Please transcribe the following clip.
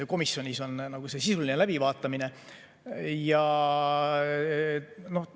Komisjonis on sisuline läbivaatamine.